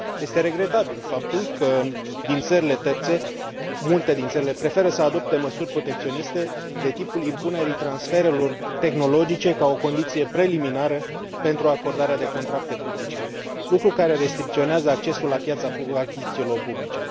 Este regretabil faptul că multe din țările terțe preferă să adopte măsuri protecționiste, de tipul impunerii transferurilor tehnologice ca o condiție preliminară pentru acordarea de contracte publice, lucru care restricționează accesul la piața achizițiilor publice.